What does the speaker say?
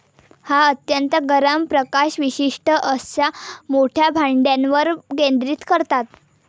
हा अत्यंत 'गरम' प्रकाश विशिष्ठ अशा मोठ्या भांड्यावर केंद्रित करतात.